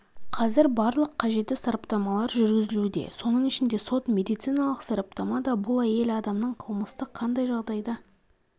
қазір барлық қажетті сараптамалар жүргізілуде соның ішінде сот медициналық сараптама да бұл әйел адамның қылмысты қандай жағдайда